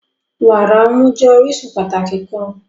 Wara ọmu jẹ orisun pataki kan.